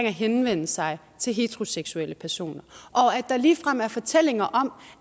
at henvende sig til heteroseksuelle personer og der er ligefrem fortællinger om